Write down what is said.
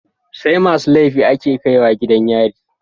SAimasu laifi ake kaiwa gidan yari